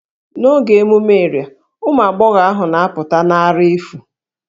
N'oge emume Iria, ụmụ agbọghọ ahụ na-apụta na àrà efu